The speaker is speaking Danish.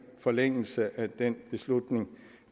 forlængelse af den beslutning